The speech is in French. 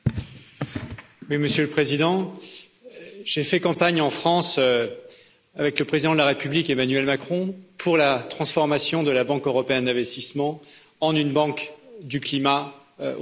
Monsieur le Président, j'ai fait campagne en France avec le président de la République, Emmanuel Macron, pour la transformation de la Banque européenne d'investissement en une banque du climat au niveau européen.